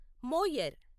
Moyar